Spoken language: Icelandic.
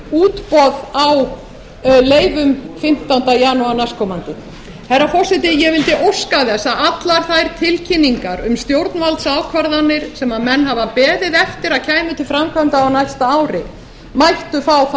útboð á leyfum fimmtánda janúar næstkomandi herra forseti ég vildi óska þess að allar þær tilkynningar um stjórnvaldsákvarðanir sem menn hafa beðið eftir að kæmu til framkvæmda á næsta ári mættu fá þá